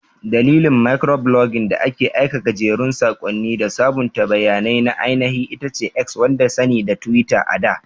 Dandalin Mikroblogging da ake aika gajerun sakonni da sabunta bayanai na ainihi itace X wadda sani da Twitter ada.